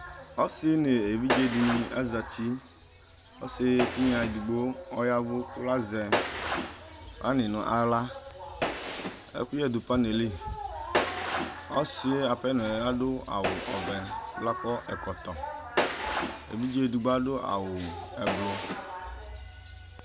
Ɔsi nʋ evidze dìní azɛti Ɔsi tinya ɛdigbo ɔyavʋ kʋ azɛ pani nʋ aɣla Ɛkʋyɛ du pani yɛ li Ɔsi ye apenɔ yɛ adu awu ɔvɛ kʋ akɔ ɛkɔtɔ Evidze ɛdigbo adu awu ɛblɔ